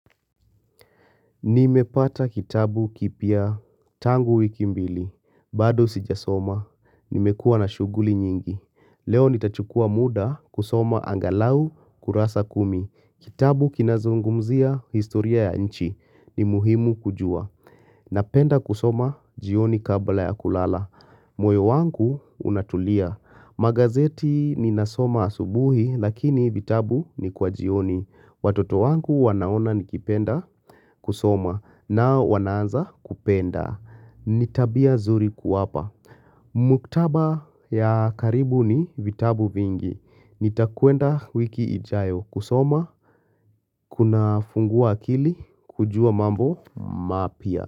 Nimepata kitabu kipya tangu wiki mbili. Bado sijasoma. Nimekuwa na shughuli nyingi. Leo nitachukua muda kusoma angalau kurasa kumi. Kitabu kinazungumzia historia ya nchi. Ni muhimu kujua. Napenda kusoma jioni kabla ya kulala. Moyo wangu unatulia. Magazeti ni nasoma asubuhi lakini vitabu ni kwa jioni. Watoto wangu wanaona nikipenda kusoma na wanaanza kupenda. Nitabia zuri kuwapa. Muktaba ya karibu ni vitabu vingi. Nitakwenda wiki ijayo kusoma. Kuna fungua akili. Kujua mambo mapya.